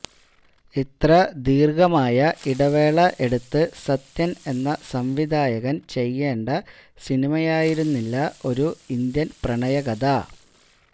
ഇത്ര ദീര്ഘമായ ഇടവേള എടുത്ത് സത്യന് എന്ന സംവിധായകന് ചെയ്യേണ്ട സിനിമയായിരുന്നില്ല ഒരു ഇന്ത്യന് പ്രണയകഥ